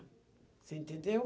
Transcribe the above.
Você entendeu?